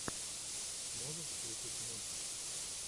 можешь включить мультик